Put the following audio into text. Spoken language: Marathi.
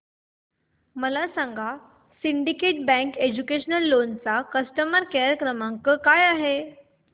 मला सांगा सिंडीकेट बँक एज्युकेशनल लोन चा कस्टमर केअर क्रमांक काय आहे